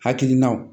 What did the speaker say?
Hakilinaw